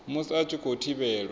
musi a tshi khou thivhelwa